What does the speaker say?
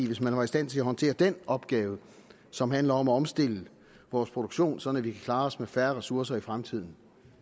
hvis man var i stand til at håndtere den opgave som handler om at omstille vores produktion sådan at vi kan klare os med færre ressourcer i fremtiden